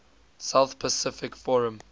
south pacific forum